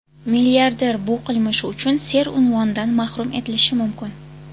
Milliarder bu qilmishi uchun ser unvonidan mahrum etilishi mumkin.